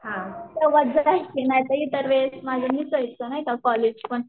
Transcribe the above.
तेवढंच जायची नाहीतर इतर वेळेस माझं नसायचं नाय का कॉलेज पण